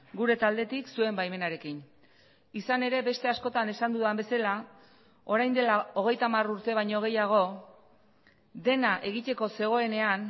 gure taldetik zuen baimenarekin izan ere beste askotan esan dudan bezala orain dela hogeita hamar urte baino gehiago dena egiteko zegoenean